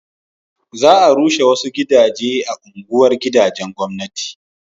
za a rushe wasu gidaje a unguwar gidajen gwamnati